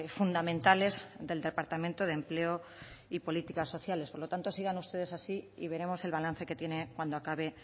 fundamentales del departamento de empleo y políticas sociales por lo tanto sigan ustedes así y veremos el balance que tienen cuando acabe